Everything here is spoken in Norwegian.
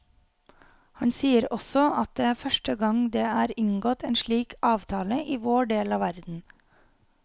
Han sier også at det er første gang det er inngått en slik avtale i vår del av verden.